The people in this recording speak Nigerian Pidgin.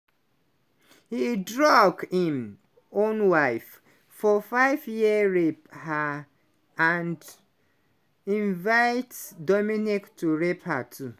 e drug im own wife for five year rape her and invite dominique to rape her too.